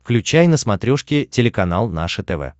включай на смотрешке телеканал наше тв